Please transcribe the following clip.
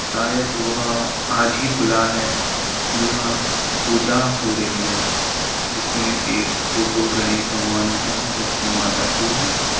शायद वह आज ही खुला है क्‍योंकि यहाँ पूजा हो रही है जिसमें एक फोटो गणेश भगवान की है लक्ष्‍मी माता की है।